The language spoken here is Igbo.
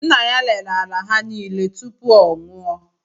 Nna ya rere ala ha nile tupu ọ nwụọ